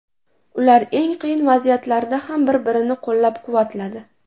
Ular eng qiyin vaziyatlarda ham bir-birini qo‘llab-quvvatladi.